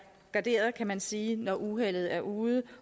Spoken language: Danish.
garderet kan man sige når uheldet er ude